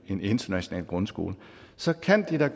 en international grundskole så kan de da